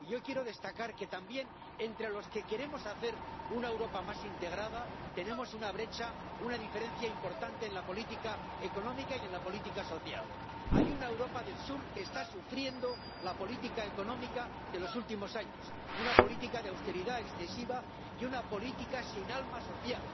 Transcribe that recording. Y yo quiero destacar que también entre los que queremos hacer una Europa más integrada tenemos una brecha, una diferencia importante en la política económica y en la política social. Hay una Europa del sur que está sufriendo la política económica de los últimos años una política de austeridad excesiva y una política sin alma social.